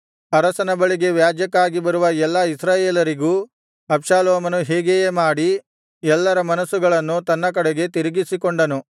ಅರಸನ ಬಳಿಗೆ ವ್ಯಾಜ್ಯಕ್ಕಾಗಿ ಬರುವ ಎಲ್ಲಾ ಇಸ್ರಾಯೇಲರಿಗೂ ಅಬ್ಷಾಲೋಮನು ಹೀಗೆಯೇ ಮಾಡಿ ಎಲ್ಲರ ಮನಸ್ಸುಗಳನ್ನು ತನ್ನ ಕಡೆಗೆ ತಿರುಗಿಸಿಕೊಂಡನು